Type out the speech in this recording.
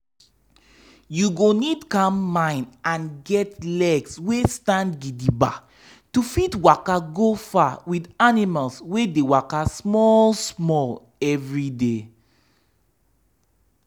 you go need calm mind and get legs wey stand gidigba to fit waka go far with animals wey dey waka small small every day.